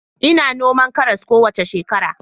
Ina noman karas kowace shekara